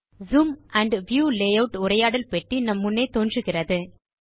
zoom and view layout உரையாடல் பெட்டி நம் முன்னே தோன்றுகிறது